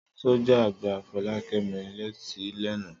Sọ́jà gba Fọlákẹ́mi létí lánàá.